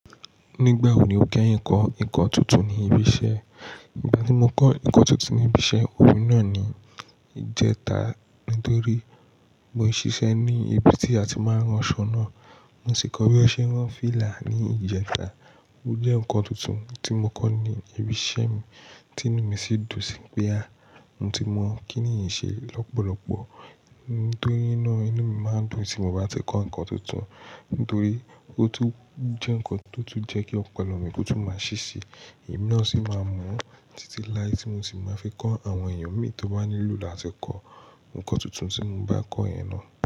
Nígbà wo ni o kẹ́yin kọ́ ìkan tuntun ní ibi iṣẹ́? Ìgbà tí mo kọ́ ìkan tuntun ní ibi iṣẹ́, òun náà ni ìjẹta nítorí mo ń ṣiṣẹ́ ní ibi tí a ti máa ń ran aṣọ náà. Mo sì kọ́ bí a ṣe ń rán fílà ní ìjẹta, ó jẹ́ nǹkan tuntun tí mo kọ́ ní ibi iṣẹ́ mi, tí inú mi sì dùn síi pé mo ti mọ̀ kín nìyí ṣe lọ́pọ̀lọpọ̀. Nítorí naá inú mi máa ń dùn tí mo bá ti kọ́ nǹkan tuntun. Nítorí ó tún jẹ́ nǹkan tó tún jẹ́ kí ọpọlọ mi kó tún máa ṣi ṣii. Emi naá sí máa mú, títí lái tí mo sì máa fi kọ́ àwọn èèyàn mi, tó bá nílò láti kọ́ nǹkan tuntun tí mo bá kọ́ yen náà.